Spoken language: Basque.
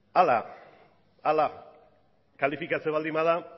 hala kalifikatzen baldin bada